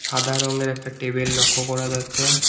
সাদা রঙের একটা টেবিল লক্ষ করা যাচ্ছে।